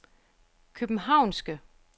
københavnske